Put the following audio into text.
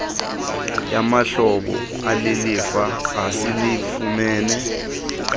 yamahlebo alilifa esilifumene